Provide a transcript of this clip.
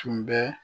Tun bɛ